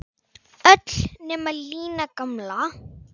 Öll nema Lína gamla.